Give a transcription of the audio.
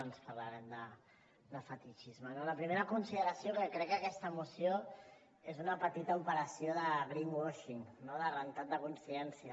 doncs parlarem de fetitxisme no la primera consideració que crec que aquesta moció és una petita operació de greenwashing no de rentat de consciència